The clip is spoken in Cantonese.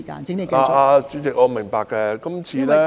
代理主席，我明白，今次......